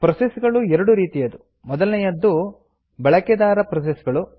process ಗಳು ಎರಡು ರೀತಿಯದು ಮೊದಲನೆಯದ್ದು ಬಳಕೆದಾರ ಪ್ರೋಸೆಸ್ ಗಳು